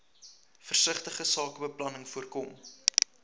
versigtige sakebeplanning voorkom